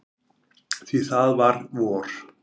Því það var vor.